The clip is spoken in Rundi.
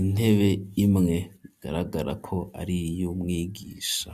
intebe imwe igaragara ko ariyu mwigisha.